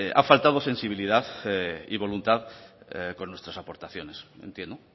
ha faltado sensibilidad y voluntad con nuestras aportaciones entiendo